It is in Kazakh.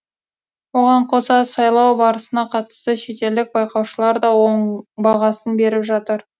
оған қоса сайлау барысына қатысты шетелдік байқаушылар да оң бағасын беріп жатыр